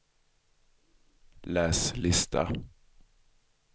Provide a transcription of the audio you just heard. läs lista